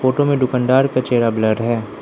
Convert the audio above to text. Photo में दुकानदार का चेहरा ब्लर है।